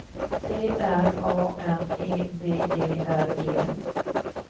T R A N E B E R G